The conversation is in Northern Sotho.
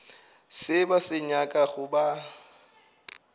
se ba se nyakago ba